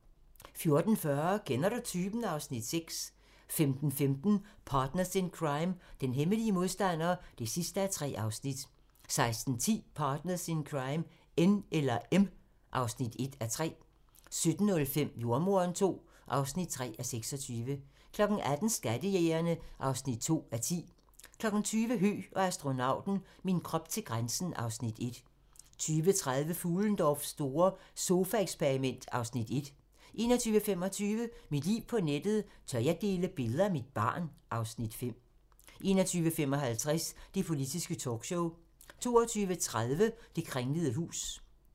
14:40: Kender du typen? (Afs. 6) 15:15: Partners in Crime: Den hemmelige modstander (3:3) 16:10: Partners in Crime: N eller M (1:3) 17:05: Jordemoderen II (3:26) 18:00: Skattejægerne (2:10) 20:00: Høgh og astronauten - min krop til grænsen (Afs. 1) 20:30: Fuhlendorffs store sofaeksperiment (Afs. 1) 21:25: Mit liv på nettet: Tør jeg dele billeder af mit barn? (Afs. 5) 21:55: Det politiske talkshow 22:30: Det kringlede hus